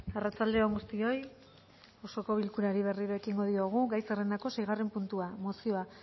arratsalde on guztioi osoko bilkurari berriro ekingo diogu gai zerrendako seigarren puntua mozioa